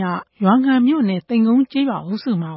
ရ ရွာငံမြို့နယ်၊ သိမ်ကုန်းကျေးရွာအုပ်စုမှ